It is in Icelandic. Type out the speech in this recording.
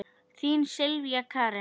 Þín Sylvía Karen.